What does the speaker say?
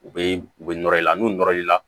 U bɛ u bɛ nɔrɔ i la n'u nɔrɔ la